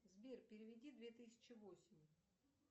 сбер переведи две тысячи восемь